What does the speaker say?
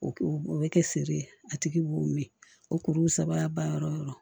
O o bɛ kɛ feere ye a tigi b'o min o kuru saba ba yɔrɔ yɔrɔ